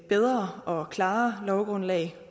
bedre og klarere lovgrundlag